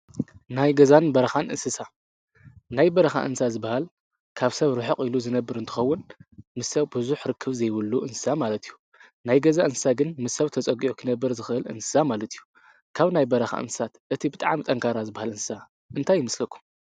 ናይ ገዛን በረካን እንስሳት ናይ በረካ እንስሳ ዝበሃል ካብ ሰብ ርሕቅ ኢሉ ዝነብር እንትከዉን ምስ ሰብ ብዙሕ ርክብ ዘይብሉ እንስሳ ማለት እዩ። ናይ ገዛ እንስሳ ግን ምስ ሰብ ተፀጊዑ ክነብር ዝክእል እንስሳ ማለት እዩ። ካብ ናይ በረካ እንስሳት እቲ ብጣዕሚ ጠንካራ ዝበሃል እንስሳ እንታይ ይመስለኩም?